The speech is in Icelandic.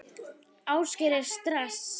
Ásgeir: Er stress?